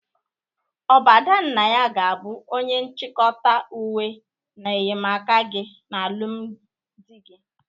Ọ bụ Adannaya ga-abụ onye nchịkọta uwe na enyemaaka gị n'alụmdị gị?